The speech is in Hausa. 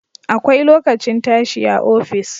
Akwai lokacin tashi a office